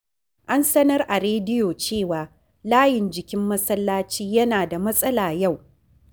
An sanar a rediyo cewa layin jikin masallaci yana da matsala yau.